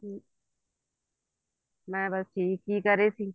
ਮੈਂ ਬੱਸ ਠੀਕ ਕੀ ਕਰ ਰਹੇ ਸੀ